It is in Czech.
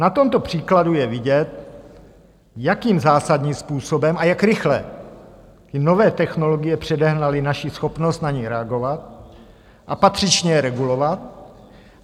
Na tomto příkladu je vidět, jakým zásadním způsobem a jak rychle i nové technologie předehnaly naši schopnost na ni reagovat a patřičně je regulovat.